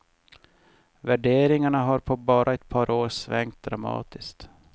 Värderingarna har på bara ett par år svängt dramatiskt.